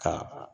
Ka